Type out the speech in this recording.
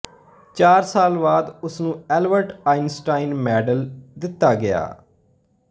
ਚਾਰ ਸਾਲ ਬਾਅਦ ਉਸ ਨੂੰ ਐਲਬਰਟ ਆਈਨਸਟਾਈਨ ਮੈਡਲ ਦਿੱਤਾ ਗਿਆ